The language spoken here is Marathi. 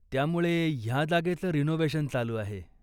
त्यामुळे ह्या जागेचं रिनोव्हेशन चालू आहे.